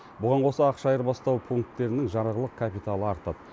бұған қоса ақша айырбастау пунктерінің жарғылық капиталы артады